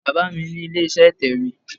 Baba mi ni ile-iṣẹ itẹwe